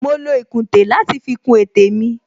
Mo lo ìkùntè láti fi kun etè mi